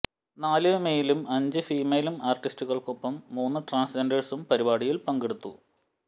നാല് മെയിലും അഞ്ച് ഫീമെയിൽ ആർട്ടിസ്റ്റുകൾക്കുമൊപ്പം മൂന്ന് ട്രാൻസ് ജെൻഡേഴ്സും പരിപാടിയിൽ പങ്കെടുത്തു